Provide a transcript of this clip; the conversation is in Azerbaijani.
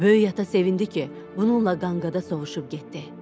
Böyük ata sevindi ki, bununla qanqada sovuşub getdi.